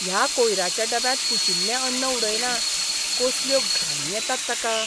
ह्या कोयऱ्याच्या डब्यांत कुशिल्लें अन्न उडयलां. कसल्यो घाणी येतात ताका!